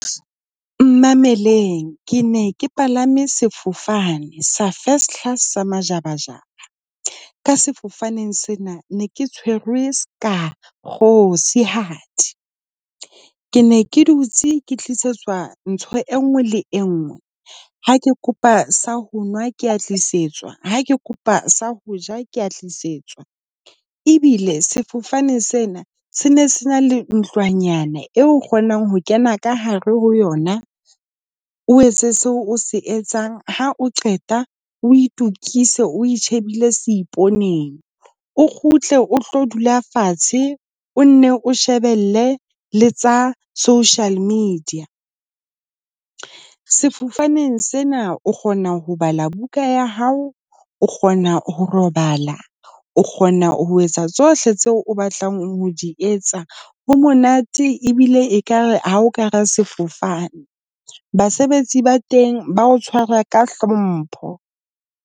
Mmameleng, ke ne ke palame sefofane sa first class, sa majabajaba. Ka sefofaneng sena ne ke tshwerwe seka kgosihadi. Ke ne ke dutse ke tlisetswa ntho e nngwe le e nngwe, ha ke kopa sa ho nwa ke a tlisetswa. Ha ke kopa sa ho ja ke a tlisetswa. Ebile sefofane sena se ne se na le nthonyana eo o kgonang ho kena ka hare ho yona. O etse seo o se etsang, ha o qeta o itukise, o shebile seiponeng. O kgutle, o tlo dula fatshe, o nne o shebelle le tsa social media. Sefofaneng sena o kgona ho bala buka ya hao, o kgona ho robala, o kgona ho etsa tsohle tseo o batlang ho di etsa. Ho monate ebile ekare ha o ka hara sefofane. Basebetsi ba teng ba o tshwara ka hlompho.